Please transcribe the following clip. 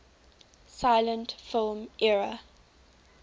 silent film era